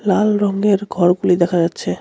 লাল রঙের ঘরগুলি দেখা যাচ্ছে.